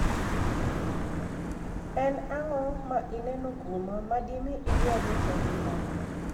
Eni anig'o ma ini eno kuoma, ma dimi idwar rocho nigimania? '